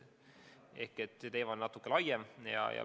See teema on natuke laiem.